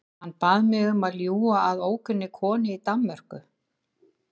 Hann bað mig um að ljúga að ókunnugri konu í Danmörku.